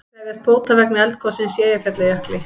Krefjast bóta vegna eldgossins í Eyjafjallajökli